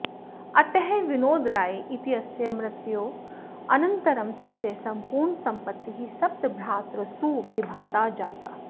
अतः विनोदराय इत्यस्य मृत्योः अनन्तरं तस्य सम्पूर्णसम्पत्तिः सप्तभ्रातृसु विभक्ता जाता